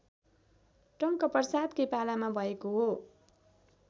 टंकप्रसादकै पालामा भएको हो